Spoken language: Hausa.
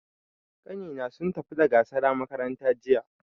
Ƙanni na sun tafi da gurasa makaranta jiya.